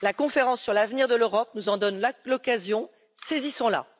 La conférence sur l'avenir de l'Europe nous en donne l'occasion, saisissons la.